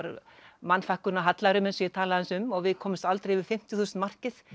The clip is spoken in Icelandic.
mannfækkun og hallæri eins og ég tala aðeins um við komumst aldrei yfir fimmtíu þúsund markið